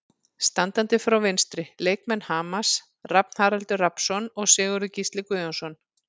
Standandi frá vinstri: Leikmenn Hamars, Rafn Haraldur Rafnsson og Sigurður Gísli Guðjónsson.